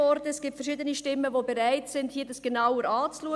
Es gibt verschiedene Stimmen, die bereit sind, dies genauer anzuschauen.